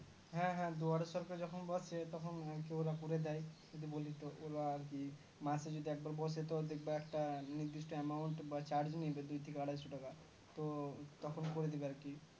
হ্যাঁ হ্যাঁ দুয়ারের সরকার যখন বসে তখন কি বলে ওরা লে যায় যখন বসে আরকি মাসের যদি একবার বসে তো দেখব একটা নির্দিষ্ট amount বা charge নেবে দুই থেকে আড়াইশো টাকা তো তখন করে দেব আরকি